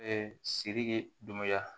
siriki ye dunbaya